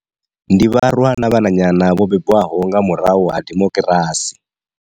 Ndi vharwa na vhananyana vho bebwaho nga murahu ha dimokirasi.